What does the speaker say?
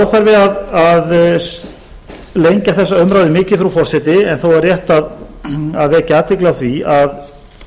það er óþarfi að lengja þessa umræðu mikið frú forseti en þó er rétt að vekja athygli á því að